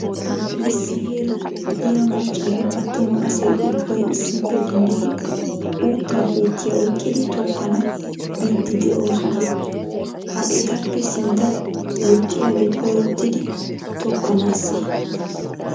Issi heeraan diya maccanne attuma asay ubbay issippe dindidi uuttaa puutiya oyiqqidi tokkanawu biiddi de'oosona. Ha etappe sinttawu woxxiyagee koyrottidi tokkanaassee?